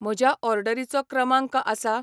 म्हज्या ऑडरीचो क्रमांक आसा,